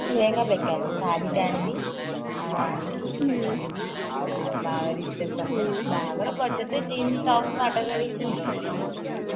ଲେହେଙ୍ଗା ବେକାର ଶାଢୀ ଟେ ଆଣିବି ଆଉ ଆଣିକି recaption ରେ ବାହାଘର ବରଯାତ୍ରୀ ରେ jeans tpos ମାଡ କରିକି ଯିବି ଆଉ